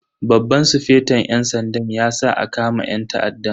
Babban sufeton yan sanda ya sa a kama yan ta'addan.